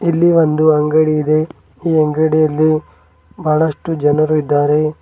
ಇಲ್ಲಿ ಒಂದು ಅಂಗಡಿ ಇದೆ ಈ ಅಂಗಡಿಯಲ್ಲಿ ಬಹಳಷ್ಟು ಜನರು ಇದ್ದಾರೆ.